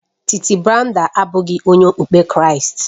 Titi Brenda abụghị onye okpukpe Kraịst